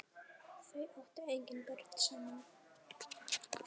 Þau áttu engin börn saman.